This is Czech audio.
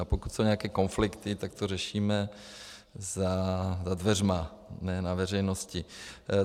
A pokud jsou nějaké konflikty, tak to řešíme za dveřmi, ne na veřejnosti.